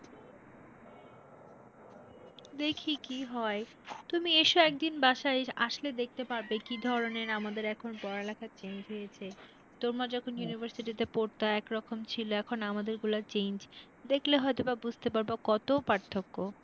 দেখি কি হয় তুমি এসো একদিন বাসায় আসলে দেখতে পাবে কি ধরনের আমাদের এখন পড়ালেখার change হয়েছে, তোমরা যখন university তে পড়তা একরকম ছিল, এখন আমাদের গুলো change দেখলে হয়তো বা বুঝতে পারবা কত পার্থক্য।